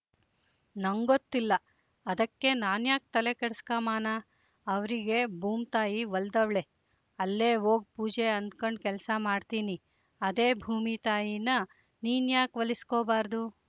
ನಂಗೊತ್ತಿಲ್ಲ ಅದಕ್ಕೆ ನಾನ್ಯಾಕ್ ತಲೆ ಕೆಡಿಸ್ಕಮಾನ ಅವ್ರಿಗೆ ಬೂಮ್‍ತಾಯಿ ಒಲ್ದವ್ಳೆ ಅಲ್ಲೇ ವೋಗ್ ಪೂಜೆ ಅಂದ್ಕಂಡ್ ಕೆಲ್ಸ ಮಾಡ್ತೀನಿ ಅದೇ ಭೂಮಿತಾಯೀನ ನೀನು ಯಾಕ್ ಒಲಿಸ್ಕೊಬಾರದು